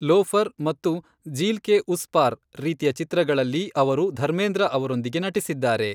Loafer ಮತ್ತು ಜೀಲ್ ಕೆ ಉಸ್ ಪಾರ್ ರೀತಿಯ ಚಿತ್ರಗಳಲ್ಲಿ ಅವರು ಧರ್ಮೇಂದ್ರ ಅವರೊಂದಿಗೆ ನಟಿಸಿದ್ದಾರೆ.